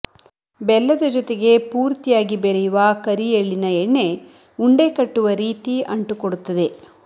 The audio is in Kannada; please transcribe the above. ಬೆಲ್ಲದ ಜೊತೆಗೆ ಪೂರ್ತಿಯಾಗಿ ಬೆರೆಯುವ ಕರಿ ಎಳ್ಳಿನ ಎಣ್ಣೆ ಉಂಡೆ ಕಟ್ಟುವ ರೀತಿ ಅಂಟು ಕೊಡುತ್ತದೆ